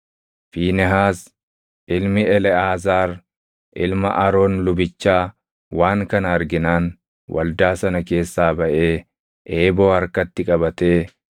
Fiinehaas ilmi Eleʼaazaar ilma Aroon lubichaa waan kana arginaan waldaa sana keessaa baʼee eeboo harkatti qabatee